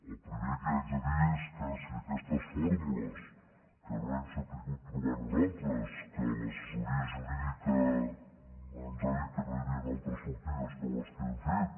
el primer que haig de dir és que si aquestes fórmules que no hem sabut trobar nosaltres que l’assessoria jurídica ens ha dit que no hi havien altres sortides que les que hem fet